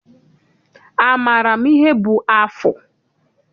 Amaara m ihe bụ afụ?